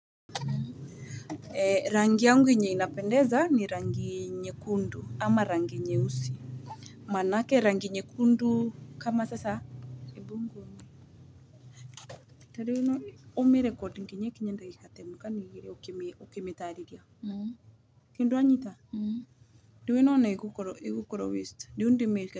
Rangi yangu yenye inapendeza ni rangi nyekundu ama rangi nyeusi manake rangi nyekundu kama sasa tada wuna omi rekordi nginye kinenda hii hati muka ni gire uke me taridi ya kinduwa nyita diwena wana igukoro igukoro wistu diundi milke.